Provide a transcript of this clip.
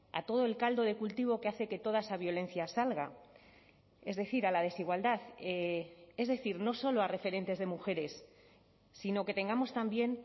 a todo el caldo de cultivo que hace que toda esa violencia salga es decir a la desigualdad es decir no solo a referentes de mujeres sino que tengamos también